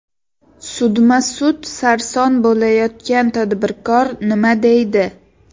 Sudma-sud sarson bo‘layotgan tadbirkor nima deydi?